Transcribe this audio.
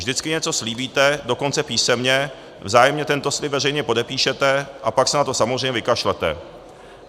Vždycky něco slíbíte, dokonce písemně, vzájemně tento slib veřejně podepíšete, a pak se na to samozřejmě vykašlete.